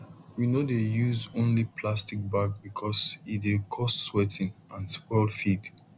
we no dey use only plastic bag because e dey cause sweating and spoil feed